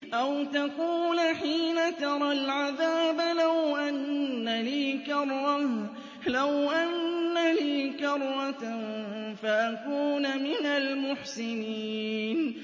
أَوْ تَقُولَ حِينَ تَرَى الْعَذَابَ لَوْ أَنَّ لِي كَرَّةً فَأَكُونَ مِنَ الْمُحْسِنِينَ